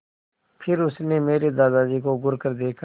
फिर उसने मेरे दादाजी को घूरकर देखा